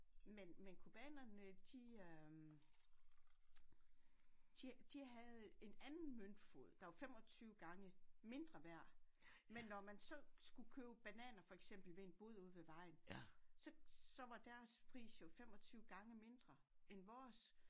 Men men cubanerne de øh de de havde en anden møntfod der var 25 gange mindre værd men når man så skulle købe bananer for eksempel ved en bod ude ved vejen så var deres pris jo 25 gange mindre end vores